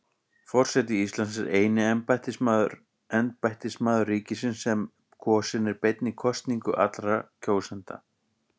Forseti Íslands er eini embættismaður ríkisins sem kosinn er beinni kosningu allra kjósenda.